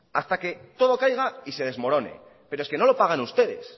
hasta que todo caiga y se desmorone pero es que no lo pagan ustedes